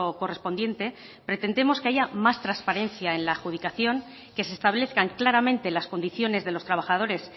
correspondiente pretendemos que haya más transparencia en la adjudicación que se establezcan claramente las condiciones de los trabajadores